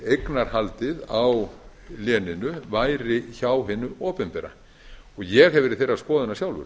eignarhaldið á léninu væri hjá hinu opinbera og ég hef verið þeirrar skoðunar sjálfur